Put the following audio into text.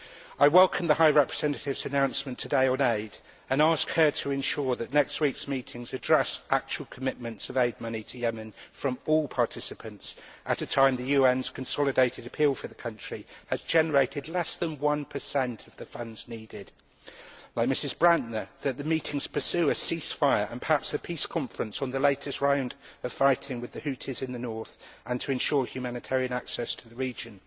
I welcome the High Representative's announcement today on aid and ask her to ensure that next week's meetings address actual commitments of aid money to Yemen, from all participants, at a time when the UN's consolidated appeal for the country has generated less than 1 of the funds needed. Like Mrs Brantner, that the meetings pursue a ceasefire, and perhaps a peace conference, on the latest round of fighting with the Houthis in the north and to ensure humanitarian access to the region.